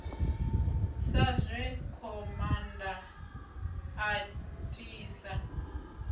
sa zwe khomanda a tisa